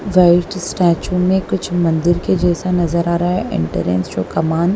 white statue मे कुछ मंदिर के जैसा नजर आ रहा है एंटेरेंस जो कमान--